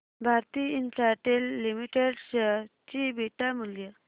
Bharti Infratel limited share चे beta मूल्य